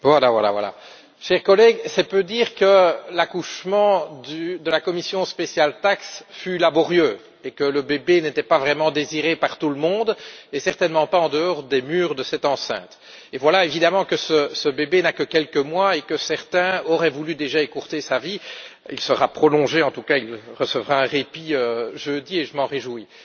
Madame la Présidente, chers collègues, c'est peu dire que l'accouchement de la commission spéciale TAXE fut laborieux et que le bébé n'était pas vraiment désiré par tout le monde, et certainement pas en dehors des murs de cette enceinte. Et, évidemment, alors que ce bébé n'a que quelques mois et que certains voudraient déjà écourter sa vie, elle sera prolongée en tout cas, et il recevra un répit jeudi et je m'en réjouis.